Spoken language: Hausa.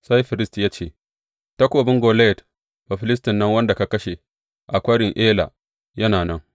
Sai firist ya ce, Takobin Goliyat Bafilistin nan wanda ka kashe a Kwarin Ela yana nan.